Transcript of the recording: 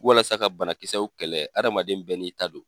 Walasa ka banakisɛw kɛlɛ, adamaden bɛɛ n'i ta don.